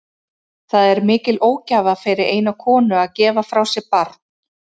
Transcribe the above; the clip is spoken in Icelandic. Það er mikil ógæfa fyrir eina konu að gefa frá sér barn.